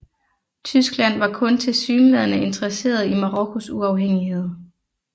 Tyskland var kun tilsyneladende interesseret i Marokkos uafhængighed